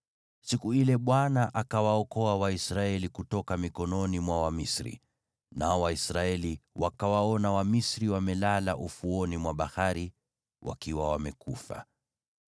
Siku ile Bwana akawaokoa Waisraeli kutoka mikononi mwa Wamisri, nao Waisraeli wakawaona Wamisri wamelala ufuoni mwa bahari wakiwa wamekufa.